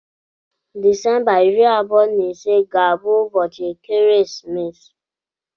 Disemba iri abụọ na ise ga-abụ ụbọchị ekeresimesi